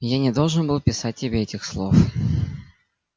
я не должен был писать тебе этих слов